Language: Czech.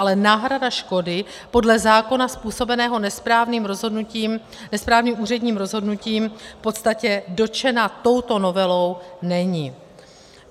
Ale náhrada škoda podle zákona způsobené nesprávným úředním rozhodnutím v podstatě dotčena touto novelou není.